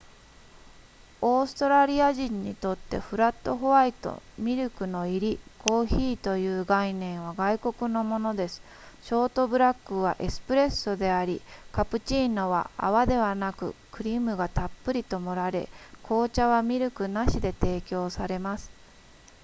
オーストラリア人にとってフラットホワイトミルクの入りコーヒーという概念は外国のものですショートブラックはエスプレッソでありカプチーノは泡ではなくクリームがたっぷりと盛られ紅茶はミルクなしで提供されます